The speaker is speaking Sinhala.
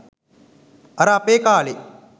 අර අපේ කාලේ